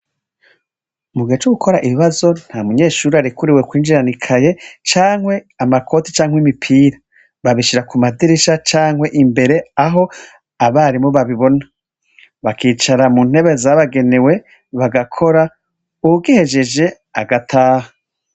Mu gihe co gukora ibibazo ntamunyeshuri arikuriwe kwinjirana ikayi canke amakoti canke imipira babishira ku madirisha canke imbere aho abarimu bababona bakicara mu ntebe zabagenewe uwugihejeje agataha,.